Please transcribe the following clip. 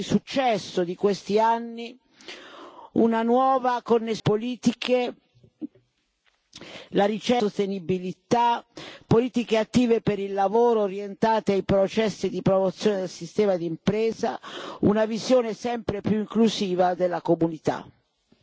Costruire dentro la visione di successo di questi anni una nuova connessione tra le politiche, la ricerca al servizio della sostenibilità, politiche attive per il lavoro, orientate ai processi di promozione del sistema di impresa, una visione sempre più inclusiva della comunità.